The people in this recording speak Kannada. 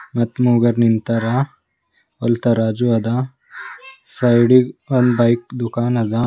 ಮತ್ ಮೂವರು ನಿಂತಾರ ಅಲ್ ತರಾಜು ಅದ ಸೈಡ್ ಇಗ್ ಒಂದ್ ಬೈಕ್ ದುಖಾನ್ ಅದ.